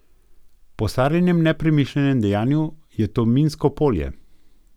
Po Sarinem nepremišljenem dejanju je to minsko polje.